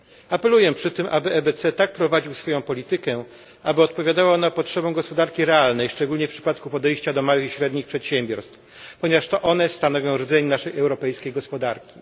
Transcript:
Apeluję przy tym, aby EBC tak prowadził swoją politykę, aby odpowiadała ona potrzebom gospodarki realnej, szczególnie w przypadku podejścia do małych i średnich przedsiębiorstw, ponieważ to one stanowią rdzeń naszej europejskiej gospodarki.